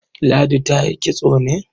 Ladi ta yi kitso ne?